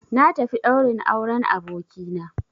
Na tafi ɗaurin auren abokina